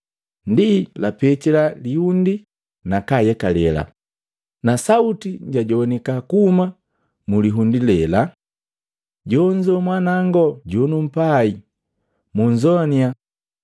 Ndi lapitila liundi nakayekale, na sauti jajogwanika kuhuma mulihundi lela, “Jonzo Mwanawango jonumpai, munzoannya!”